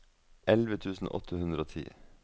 elleve tusen åtte hundre og ti